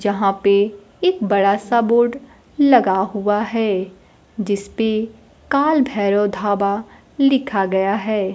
जहां पे एक बड़ा सा बोर्ड लगा हुआ है जिसपे काल भैरव धाबा लिखा गया है।